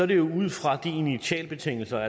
det ud fra initialbetingelserne